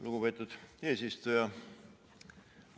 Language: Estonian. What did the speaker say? Lugupeetud eesistuja!